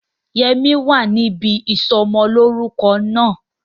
Yẹmí wa níbi ìsọmọlórúko náà